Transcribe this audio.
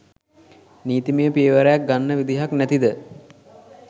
නීතිමය පියවරක් ගන්න විදියක් නැතිද?